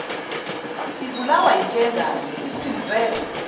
ibulawa yinkengane isimze